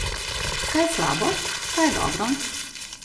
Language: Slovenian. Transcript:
Kaj je slabo, kaj je dobro?